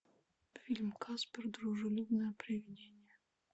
фильм каспер дружелюбное привидение